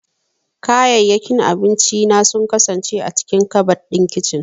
Kayayyakin abinci na sun kasance a cikin kabad ɗin kicin.